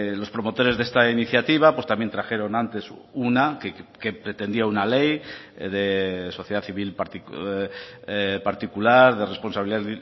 los promotores de esta iniciativa pues también trajeron antes una que pretendía una ley de sociedad civil particular de responsabilidad